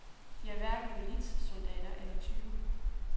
De er hverken militssoldater eller tyve.